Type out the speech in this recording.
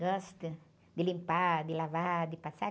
Gosto de limpar, de lavar, de passar.